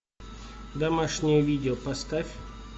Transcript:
домашнее видео поставь